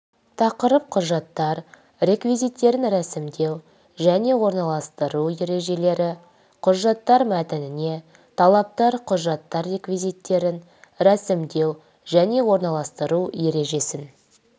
тақырып құжаттар реквизиттерін ресімдеу және орналастыру ережелері құжаттар мәтініне талаптар құжаттар реквизиттерін ресімдеу және орналастыру ережесін